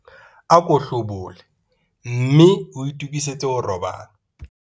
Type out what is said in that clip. Ako hlobole mme o itokisetse ho robala.